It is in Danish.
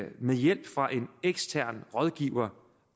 med hjælp fra en ekstern rådgiver